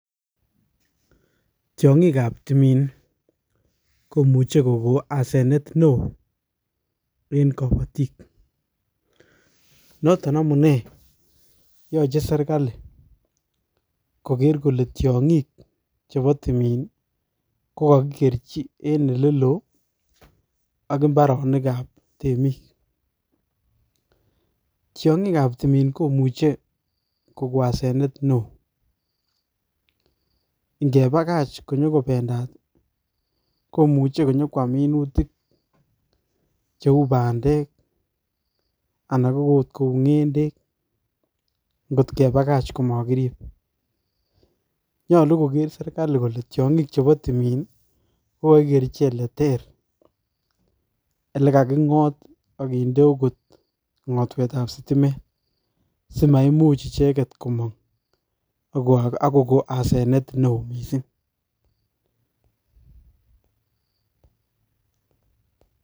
Tiongikab timin komuchei kokon asenet neo eng kabatik, notok amune yochei serikali kogeer kole tiongik chebo timin ko kakikerchin ole loo ak imbaaronikab temiik. Tiongikab timin komuchei koipu asenet neo ngepakach konyoko pendat komuchi inyokwaam minutik cheu bandek anan akot kou ngendek ngot kepakach komakiriip. Nyolu kogeer serikali kole tiongik chebo timin kokakikerchi ole ter, ole kakingot akende akot ngotwetab sitimet simaimuch icheket komang ako kokon asenet neo mising.